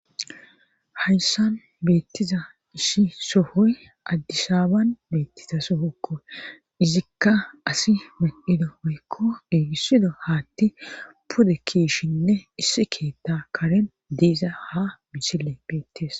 hayssan beettiza issi sohoy addisaban beettiza sohokko izikka asi medhido woykko gigisido haatti pude kiyishshinne issi keetta karen diiza ha misile beettees